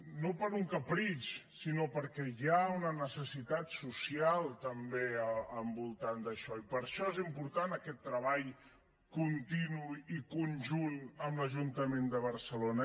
no per un capritx sinó perquè hi ha una necessitat social també al voltant d’això i per això és important aquest treball continu i conjunt amb l’ajuntament de barcelona